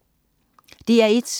DR1: